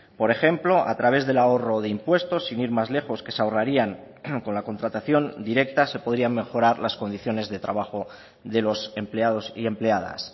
por ejemplo a través del ahorro de impuestos sin ir más lejos que se ahorrarían con la contratación directa se podrían mejorar las condiciones de trabajo de los empleados y empleadas